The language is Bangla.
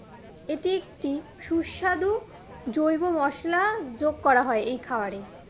এটি একটি সুস্বাধু জৈব মশলা যোগ করা হয় এই খাওয়ারে